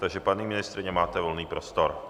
Takže paní ministryně, máte volný prostor.